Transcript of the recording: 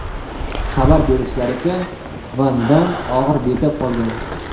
Xabar berishlaricha, Van Damm og‘ir betob qolgan.